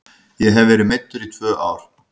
Ég hef verið meiddur í tvö ár.